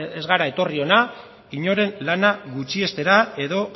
ez gara etorri hona inoren lana gutxiestera edo